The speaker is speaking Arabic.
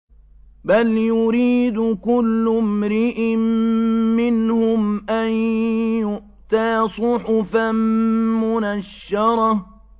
بَلْ يُرِيدُ كُلُّ امْرِئٍ مِّنْهُمْ أَن يُؤْتَىٰ صُحُفًا مُّنَشَّرَةً